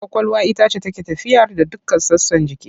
Ƙwaƙwalwa ita ce take tafiyar da dukkan sassan jiki.